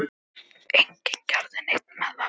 Enginn gerði neitt með það.